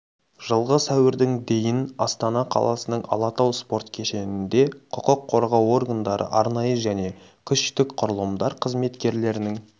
жылғы сәуірдің дейін астана қаласының алатау спорт кешенінде құқық қорғау органдары арнайы және күштік құрылымдар қызметкерлерінің